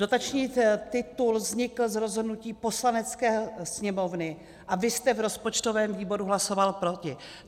Dotační titul vznikl z rozhodnutí Poslanecké sněmovny a vy jste v rozpočtovém výboru hlasoval proti.